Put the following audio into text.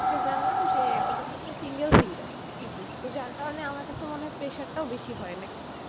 জানলাম যে ওদের হচ্ছে single single thesis তো যার কারণে আমার কাছে মনে হয়ে pressure টাও বেশি হয়ে নাকি?